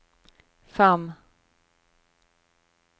fem